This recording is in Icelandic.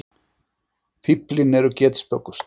Fíflin eru getspökust.